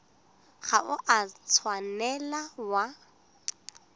ga o a tshwanela wa